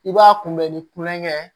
I b'a kunbɛ ni kulonkɛ